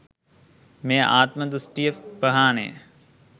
මේ ආත්ම දෘෂ්ටිය ප්‍රහාණය